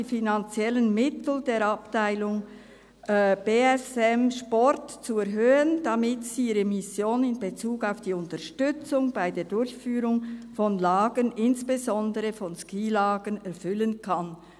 ] die finanziellen Mittel der Abteilung BSM-Sport zu erhöhen, damit sie ihre Mission in Bezug auf die Unterstützung bei der Durchführung von Lagern, insbesondere von Skilagern, erfüllen kann».